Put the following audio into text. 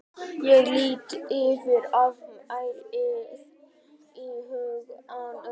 Ég lít yfir afmælið í huganum.